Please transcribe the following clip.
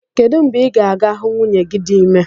Kedụ mgbe ị ga-aga hụ nwunye gị dị ime